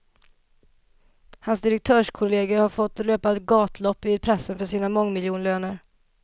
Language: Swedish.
Hans direktörskollegor har fått löpa gatlopp i pressen för sina mångmiljonlöner.